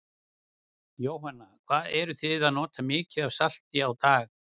Jóhanna: Hvað eruð þið að nota mikið af salti á dag?